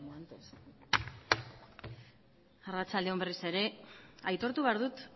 arratsalde on berriz ere aitortu behar dut